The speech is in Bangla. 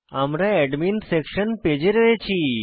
আমরা অ্যাডমিন সেকশন পেজ পেজে রয়েছি